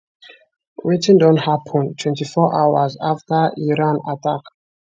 wetin don happun 24 hours afta iran attack